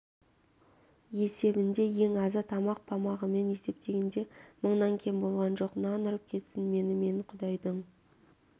есебінде ең азы тамақ-памағымен есептегенде мыңнан кем болған жоқ нан ұрып кетсін мені мен құдайдың